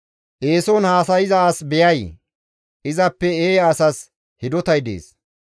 Eeson haasayza as beyay? Izappe eeya asas hidotay dees.